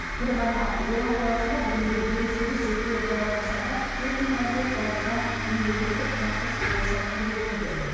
бір ғана орал қаласында бүгінде елу сегіз жеке балабақшада төрт мыңға жуық балдырған мемлекеттік тапсырыс бойынша тәрбиеленуде